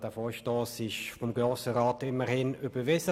Der Vorstoss wurde vom Grossen Rat immerhin überwiesen.